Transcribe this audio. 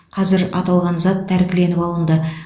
қазір аталған зат тәркіленіп алынды